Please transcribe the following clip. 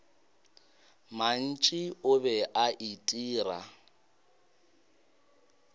mantši o be a itira